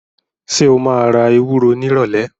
Ṣé o máa ra ewúro nírọ̀lẹ̀?